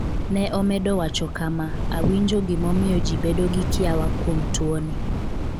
Ne omedo wacho kama: ''Awinjo gimomiyo ji bedo gi kiawa kuom tuo ni.